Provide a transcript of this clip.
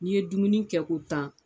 Ni ye dumuni kɛ ko tan.